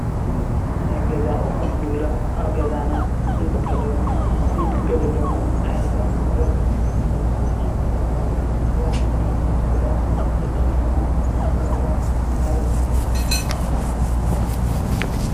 ናይ ገዛ ኣቁሑት እንብሎም ኣብ ገዛና እንጥቀመሎም እንግልገሎምን ዓይነታት ንብረት ወይ ከዓ ኣቁሑ ኮይኖም ስራሕትና ንምስላጥ ዝጠቅሙና ንብረታት ማለት እዩ፡፡